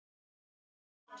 Níu lyklar.